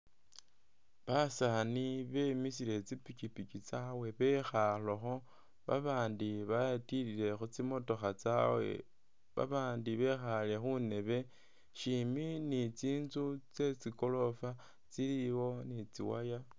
Basani bemisile kyipikyipikyi tsawe bekhalekho babandi betilile khu tsimotoka tsawe babandi bekhale khundebe shimbi ni tsitsu tsetsi gorofa tsiliwo ni tsi’wire.